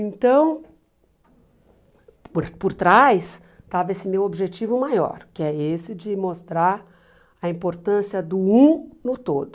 Então, por por trás, estava esse meu objetivo maior, que é esse de mostrar a importância do um no todo.